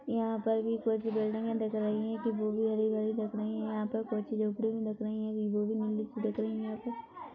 यहाँ पर भी कुछ बिल्डिंगे दिख रही है यहा पर कुछ दिख रही है।